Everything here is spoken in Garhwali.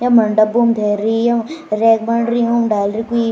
यम हण डब्बोंम धैरी यम रैक बणरियूं डैलरी कुई।